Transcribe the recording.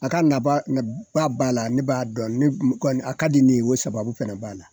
A ka naba b'a la ne b'a dɔn a ka di ne ye o sababu fana b'a la.